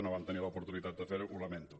no vam tenir l’oportunitat de fer·ho ho lamento